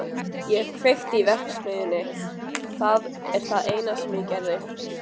Ég kveikti í verksmiðjunni, það er það eina sem ég gerði.